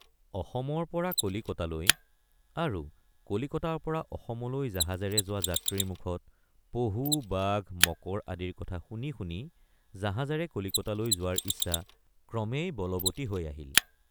অসমৰপৰ৷ কলিকতালৈ আৰু কলিকতাৰপৰা অসমলৈ জাহাজেৰে যোৱা যাত্ৰীৰ মুখত পহুবাঘ মকৰ আদিৰ কথা শুনি শুনি জাহাজেৰে কলিকতালৈ যোৱাৰ ইচ্ছা ক্ৰমেই বলৱতী হৈ আহিল।